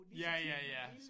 Lige så tit man ville